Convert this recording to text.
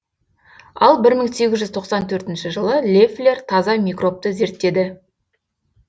ал бір мың сегіз жүз тоқсан төртінші жылы леффлер таза микробты зерттеді